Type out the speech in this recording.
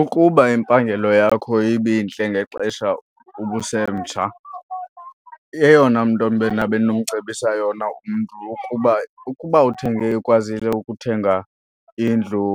Ukuba impangelo yakho ibintle ngexesha ubusemtsha, eyona nto mna bendinomcebisa yona umntu ukuba, ukuba uthenge ekwazile ukuthenga indlu